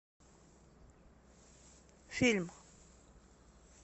фильм